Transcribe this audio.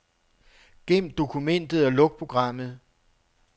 Gem dokumentet og luk programmet.